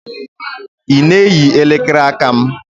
Ị na-eyi elekere aka m?